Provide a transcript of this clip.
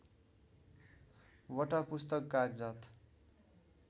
वटा पुस्तक कागजात